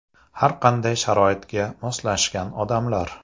Har qanday sharoitga moslashgan odamlar .